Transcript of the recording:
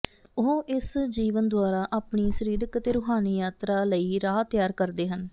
ਉਹ ਇਸ ਜੀਵਨ ਦੁਆਰਾ ਆਪਣੀ ਸਰੀਰਕ ਅਤੇ ਰੂਹਾਨੀ ਯਾਤਰਾ ਲਈ ਰਾਹ ਤਿਆਰ ਕਰਦੇ ਹਨ